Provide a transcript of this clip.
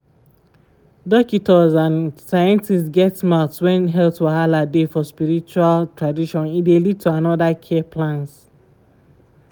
dokitors and scientists get mouth when health wahala dey for spiritual tradition e dey lead to another care plans.